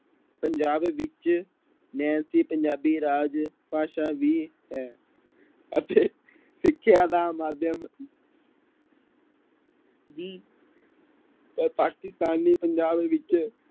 ਪੰਜਾਬ ਵਿੱਚ ਨੈਨਸੀ ਪੰਜਾਬੀ ਰਾਜ ਭਾਸ਼ਾ ਵੀ ਹੈ ਅਤੇ ਸਿੱਖਿਆ ਦਾ ਮਾਧਿਅਮ ਵੀ ਅਹ ਪਾਕਿਸਤਾਨੀ ਪੰਜਾਬ ਵਿੱਚ